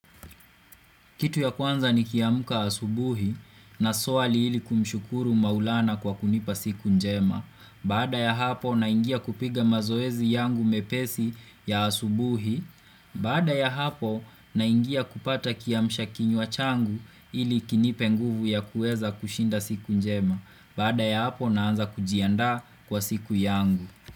Kitu ya kwanza nikiamka asubuhi na swali ili kumshukuru maulana kwa kunipa siku njema. Bada ya hapo naingia kupiga mazoezi yangu mepesi ya asubuhi. Bada ya hapo na ingia kupata kiamshakinywa changu ili kinipe nguvu ya kueza kushinda siku njema. Bada ya hapo naanza kujiandaa kwa siku yangu.